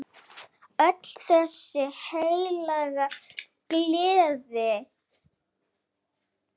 Öll þessi heilaga gleði!